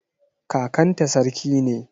Kakanta sarki ne.